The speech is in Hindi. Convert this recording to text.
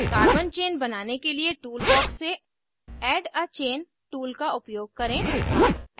carbon chain बनाने के लिए tool box से add a chain add a chain tool का उपयोग करें